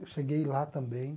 Eu cheguei lá também.